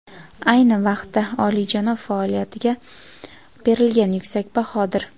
ayni vaqtda olijanob faoliyatiga berilgan yuksak bahodir.